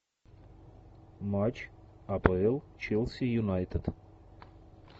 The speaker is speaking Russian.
матч апл челси юнайтед